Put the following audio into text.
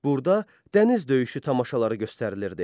Burada dəniz döyüşü tamaşaları göstərilirdi.